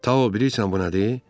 Tau, bilirsən bu nədir?